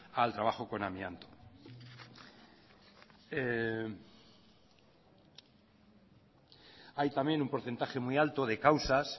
al trabajo con amianto hay también un porcentaje muy alto de causas